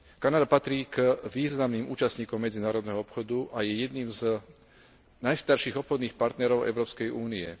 Kanada patrí k významným účastníkom medzinárodného obchodu a je jedným z najstarších obchodných partnerov Európskej únie.